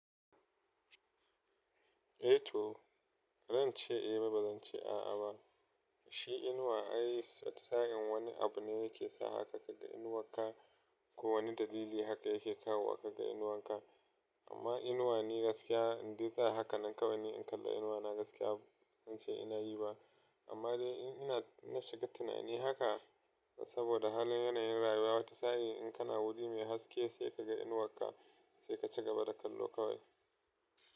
Eh to, bazan ce eh ba, ba zan ce a a ba. Shi inuwa ai tsatsa hin wani abu ne yake sa haka ka ga inuwanka. Ko wani dalili haka yake kawo haka ga inuwanka. Amma inuwa ni gaskiya in dai tsaya haka nan kawai ni in kalla inuwana gaskiya ban ce ina yi ba. Amma dai ina na shiga tunani haka saboda halin yanayin rayuwa. Wata tsayi in kana wuri mai haske sai ka ga inuwanka sai ka ci gaba da kallo kawai.